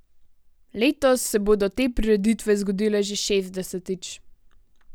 Letos se bodo te prireditve zgodile že šestdesetič.